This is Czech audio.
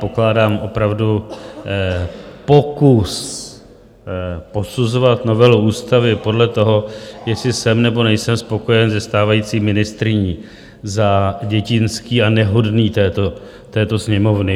Pokládám opravdu pokus posuzovat novelu ústavy podle toho, jestli jsem nebo nejsem spokojen se stávající ministryní, za dětinský a nehodný této Sněmovny.